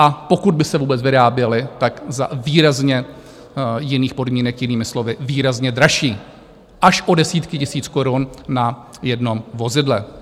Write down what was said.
A pokud by se vůbec vyráběla, tak za výrazně jiných podmínek, jinými slovy, výrazně dražší, až o desítky tisíc korun na jednom vozidle.